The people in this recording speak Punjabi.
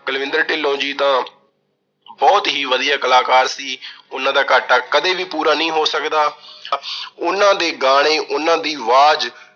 ਕੁਲਵਿੰਦਰ ਢਿੱਲੋਂ ਜੀ ਤਾਂ ਬਹੁਤ ਹੀ ਵਧੀਆ ਕਲਾਕਾਰ ਸੀ। ਉਹਨਾਂ ਦਾ ਘਾਟਾ ਕਦੇ ਵੀ ਪੂਰਾ ਨਹੀਂ ਹੋ ਸਕਦਾ। ਉਹਨਾਂ ਦੇ ਗਾਣੇ, ਉਹਨਾਂ ਦੀ ਆਵਾਜ਼